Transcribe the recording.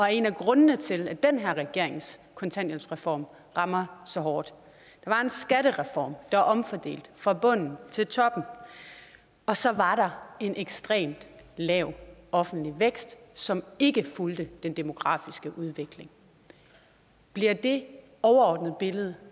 er en af grundene til at den her regerings kontanthjælpsreform rammer så hårdt der var en skattereform der omfordelte fra bunden til toppen og så var der en ekstremt lav offentlig vækst som ikke fulgte den demografiske udvikling bliver det overordnede billede